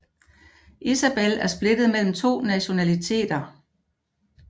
Isabel er splittet mellem to nationaliteter